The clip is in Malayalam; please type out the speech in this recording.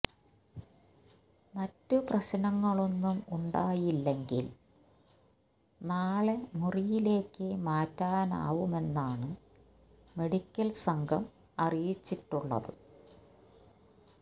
മറ്റ് പ്രശ്നങ്ങളൊന്നും ഉണ്ടായില്ലങ്കിൽ നാളെ മുറിയിലേയ്ക്ക് മാറ്റാനാവുമെന്നാണ് മെഡിക്കൽ സംഘം അറിയിച്ചിട്ടുള്ളത്